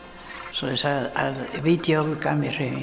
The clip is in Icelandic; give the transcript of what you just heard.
svoleiðis að vídeóið gaf mér hreyfingu